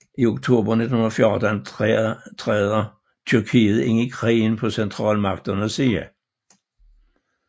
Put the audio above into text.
I oktober 1914 træder Tyrkiet ind i krigen på centralmagtens side